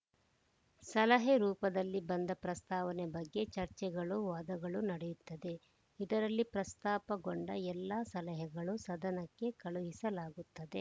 ಸಲಹೆ ರೂಪದಲ್ಲಿ ಬಂದ ಪ್ರಸ್ತಾವನೆ ಬಗ್ಗೆ ಚರ್ಚೆಗಳು ವಾದಗಳು ನಡೆಯುತ್ತದೆ ಇದರಲ್ಲಿ ಪ್ರಸ್ತಾಪಗೊಂಡ ಎಲ್ಲಾ ಸಲಹೆಗಳು ಸದನಕ್ಕೆ ಕಳುಹಿಸಲಾಗುತ್ತದೆ